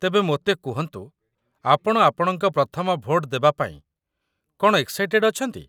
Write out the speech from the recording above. ତେବେ ମୋତେ କୁହନ୍ତୁ, ଆପଣ ଆପଣଙ୍କ ପ୍ରଥମ ଭୋଟ ଦେବାପାଇଁ କ'ଣ ଏକ୍‌ସାଇଟେଡ଼୍ ଅଛନ୍ତି ?